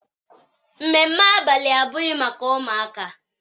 Ememme abalị abụghị maka ụmụaka.